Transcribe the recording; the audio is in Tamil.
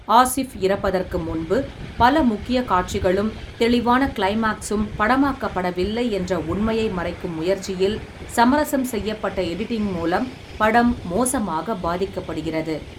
ஆசிப் இறப்பதற்கு முன்பு பல முக்கிய காட்சிகளும் தெளிவான க்ளைமாக்ஸும் படமாக்கப்படவில்லை என்ற உண்மையை மறைக்கும் முயற்சியில் சமரசம் செய்யப்பட்ட எடிட்டிங் மூலம் படம் மோசமாக பாதிக்கப்படுகிறது.